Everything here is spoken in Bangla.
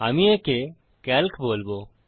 আমি একে সিএএলসি বলবো